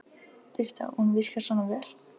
Birta: Og hún virkar svona vel?